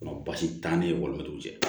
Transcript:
Basi t'an ni walimɛton cɛ